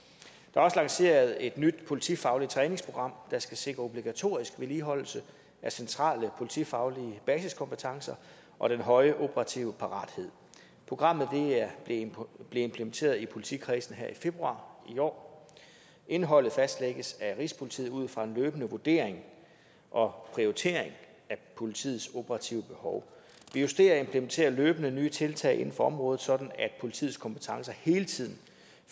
også lanceret et nyt politifagligt træningsprogram der skal sikre obligatorisk vedligeholdelse af centrale politifaglige basiskompetencer og den høje operative parathed programmet blev implementeret i politikredsene her i februar i år indholdet fastlægges af rigspolitiet ud fra en løbende vurdering og prioritering af politiets operative behov vi justerer og implementerer løbende nye tiltag inden for området sådan at politiets kompetencer hele tiden